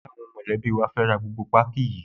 Ṣé àwọn mọ̀lẹ́bí wa fẹ́ ra gbogbo páákí yìí?